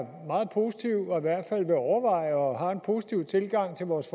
meget positiv og i hvert fald vil overveje og har en positiv tilgang til vores